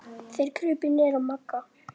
Þeir krupu niður að Magga.